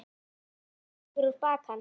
Það fara kippir um bak hans.